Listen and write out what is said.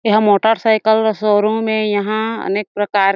एहा motorcycle का showroom हें यहाँ अनेक प्रकार के--